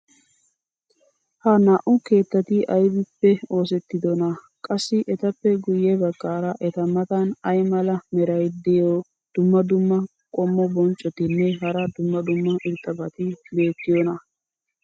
ha naa'u keettati aybippe oosettidonaa? qassi etappe guye bagaara eta matan ay mala meray diyo dumma dumma qommo bonccotinne hara dumma dumma irxxabati beettiyoonaa?